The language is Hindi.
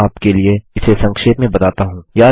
मैं आपके लिए इसे संक्षेप में बताता हूँ